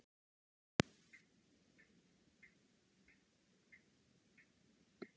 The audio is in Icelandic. Hreinn, mun rigna í dag?